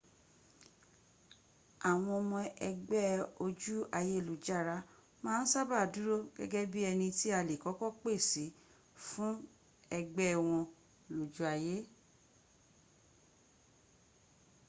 àwọn ọmọ ëgbẹ́ ojú ayélujára ma n sábà dúró gẹ́gẹ́ bí ẹni tí a lè kọ́kọ́ pè sí fún ẹgbẹ́ wọn lojú ayé